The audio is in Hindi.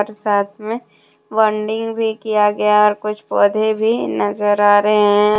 साथ में बॉन्डिंग भी किया गया और कुछ पौधे भी नजर आ रहे हैं।